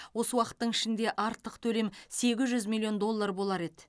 осы уақыттың ішінде артық төлем сегіз жүз миллион доллар болар еді